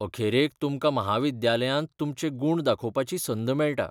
अखेरेक तुमकां म्हाविद्यालयांत तुमचे गुण दाखोवपाची संद मेळटा.